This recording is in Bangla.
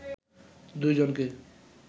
দুই জনকে